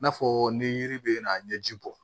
N'a fɔ ni yiri bɛ na n ye ji bɔ